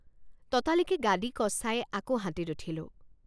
ততালিকে গাদী কচাই আকৌ হাতীত উঠিলো।